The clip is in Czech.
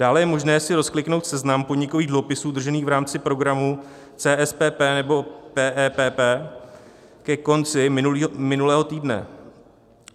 Dále je možné si rozkliknout seznam podnikových dluhopisů držených v rámci programu CSPP nebo PEPP ke konci minulého týdne.